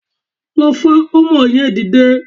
Lọ fa ọmọ yẹn dìde